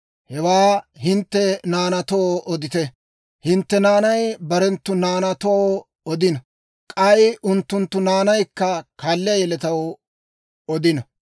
Hewaa hintte naanaatoo odite; hintte naanay barenttu naanaatoo odino; k'ay unttunttu naanaykka kaalliyaa yeletaw odino.